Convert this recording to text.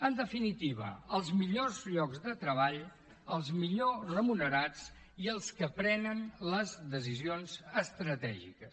en definitiva els millors llocs de treball els millor remunerats i els que prenen les decisions estratègiques